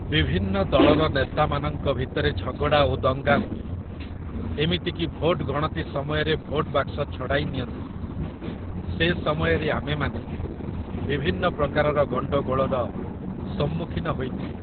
ବିଭିନ୍ନ ଦଳର ନେତାମାନଙ୍କ ଭିତରେ ଝଗଡ଼ା ଓ ଦଙ୍ଗା ହୁଏ, ଏମିତିକି ଭୋଟ ଗଣତି ସମୟରେ ଭୋଟ ବାକ୍ସ ଛଡ଼ାଇ ନିଅନ୍ତି । ସେ ସମୟରେ ଆମେମାନେ ବିଭିନ୍ନ ପ୍ରକାରର ଗଣ୍ଡଗୋଳର ସମ୍ମୁଖୀନ ହୋଇଥାଉ।